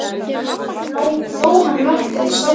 Þórkel og lét sitja við getgátu hans.